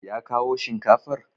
Ya kawo shinkafar?